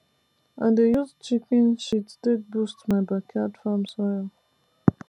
i dey use chicken shit take boost my backyard farm soil